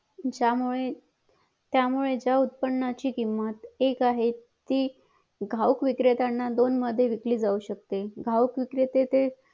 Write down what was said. ज्या मुळे त्या उत्पादनाची किंमत एक आहे ती घाऊक विक्रेत्यांना दोन मध्ये विकली जाऊ शिकते घाऊक विक्रेते